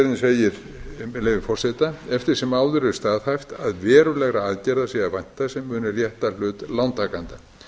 með leyfi forseta eftir sem áður er staðhæft að verulegra aðgerða sé að vænta sem muni rétta hlut lántakenda